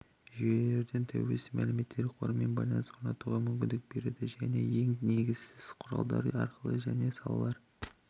жүйелерден тәуелсіз мәліметтер қорымен байланыс орнатуға мүмкіндік береді және ең негізгісі құралдары арқылы және салалар